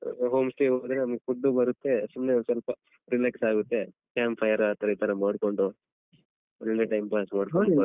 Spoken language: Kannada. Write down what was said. Home stay ಹೋದ್ರೆ ನಮ್ಗ್ food ಬರುತ್ತೆ ಸುಮ್ನೆ ಒಂದ್ ಸ್ವಲ್ಪ relax ಆಗುತ್ತೆ camp fire ಆತರ ಈತರ ಮಾಡ್ಕೊಂಡು ಒಳ್ಳೆ time pass ಮಾಡ್ಕೊಳ್ಬಹುದ್ .